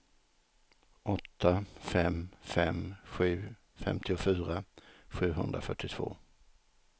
åtta fem fem sju femtiofyra sjuhundrafyrtiotvå